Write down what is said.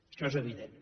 això és evident